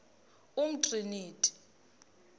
umtriniti